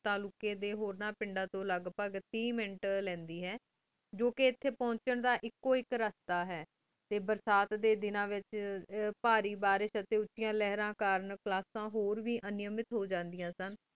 ਤਾਲੁਕ੍ਯ ਦੁ ਹੋਰਾਂ ਡੀ ਪੰਡ ਦਾਨ ਤੂੰ ਲਘ ਭਗਹ ਟੀ ਮਿੰਟ ਲ੍ਯ੍ਨ੍ਦੀ ਆਯ ਜੋ ਕੀ ਏਥੀ ਪੁਛਣ ਦਾ ਐਕੂ ਹਿਖ ਰਸਤਾ ਹੀ ਟੀ ਬੇਰ੍ਸਤ ਡੀ ਦਿਨਾ ਵੇਚ ਪਾਰੀ ਬਾਰਸ਼ ਟੀ ਉਚੇਯਾਂ ਲਹਰਾਂ ਕਰਨ ਕ੍ਲਾਸ੍ਸੇਆਂ ਟੀ ਹੋ ਵੇ ਅਨਾਮਿਤ ਹੋ ਜਾਨ੍ਦੇਯਾਂ ਸੇ